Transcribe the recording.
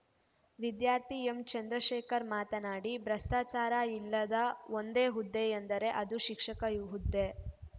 ವಿದ್ಯಾರ್ಥಿ ಎಂಚಂದ್ರಶೇಖರ ಮಾತನಾಡಿ ಭೃಷ್ಟಾಚಾರ ಇಲ್ಲದ ಒಂದೇ ಹುದ್ದೆಯೆಂದರೆ ಅದು ಶಿಕ್ಷಕ ಹುದ್ದೆ